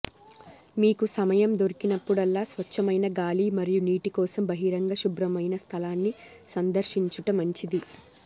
మీకు సమయం దొరికినప్పుడల్లా స్వచ్ఛమైన గాలి మరియు నీటి కోసం బహిరంగ శుభ్రమైన స్థలాన్ని సందర్శించుట మంచిది